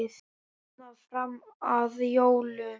Svona fram að jólum.